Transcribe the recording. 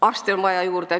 Arste on juurde vaja.